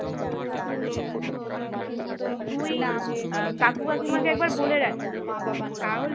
তুই আহ কাকু কাকিমাকে একবার বলে রাখিস তাহলে